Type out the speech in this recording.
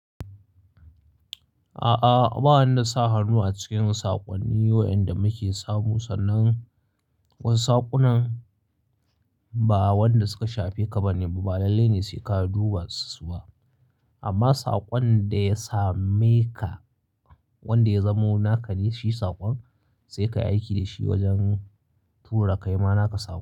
A'a, ba wani sa hannu a cikin saƙonni wa'inda muke samu, sannan wasu saƙunan ba wanda suka shafe ka bane ba, ba lalle ne sai ka duba su ba. Amma saƙon da ya same ka, wanda ya zamo naka ne shi saƙon, sai ka yi aiki da shi wajen tura kaima naka saƙo.